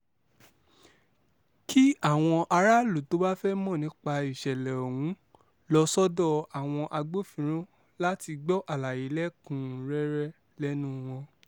kí àwọn aráàlú tó bá fẹ́ẹ́ mọ̀ nípa ìṣẹ̀lẹ̀ ọ̀hún lọ sọ́dọ̀ àwọn agbófinròn láti gbọ́ àlàyé lẹ́kùn-ún-rẹ́rẹ́ lẹ́nu wọn